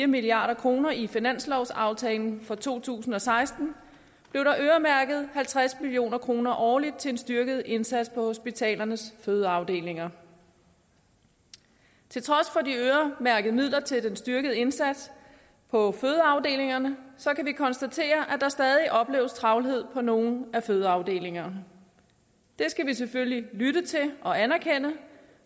milliard kroner i finanslovsaftalen for to tusind og seksten blev der øremærket halvtreds million kroner årligt til en styrket indsats på hospitalernes fødeafdelinger til trods for de øremærkede midler til den styrkede indsats på fødeafdelingerne kan vi konstatere at der stadig opleves travlhed på nogle fødeafdelinger det skal vi selvfølgelig lytte til og anerkende